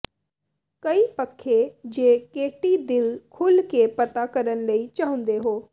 ਕਈ ਪੱਖੇ ਜੇ ਕੇਟੀ ਦਿਲ ਖੁੱਲ੍ਹ ਕੇ ਪਤਾ ਕਰਨ ਲਈ ਚਾਹੁੰਦੇ ਹੋ